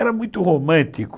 Era muito romântico.